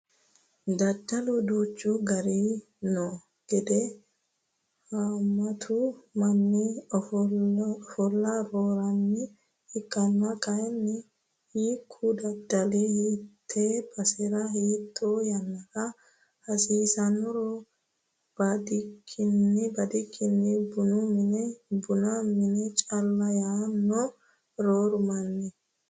Daddalu duuchu garihu no gede hamatu manni afalla roorino ikkonna kayinni hiikku daddali hiite basera hiite yannara hasiisanoro badikkini bunu mine bunu mine calla yaano rooru manni.